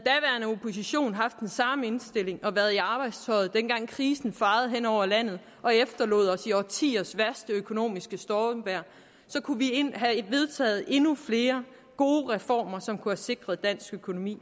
samme indstilling og været i arbejdstøjet dengang krisen fejede hen over landet og efterlod os i årtiers værste økonomiske stormvejr kunne vi have vedtaget endnu flere gode reformer som kunne have sikret dansk økonomi